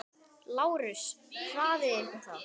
LÁRUS: Hraðið ykkur þá!